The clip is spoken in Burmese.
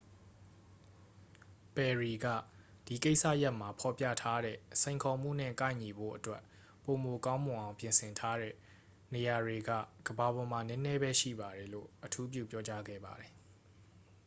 "ပယ်ရီက "ဒီကိစ္စရပ်မှာ ဖော်ပြထားတဲ့ စိန်ခေါ်မှုနဲ့ ကိုက်ညီဖို့အတွက် ပိုမိုကောင်းမွန်အောင် ပြင်ဆင်ထားတဲ့ နေရာတွေက ကမ္ဘာပေါ်မှာ နည်းနည်းပဲရှိပါတယ်" လို့ အထူးပြုပြောကြားခဲ့ပါတယ်။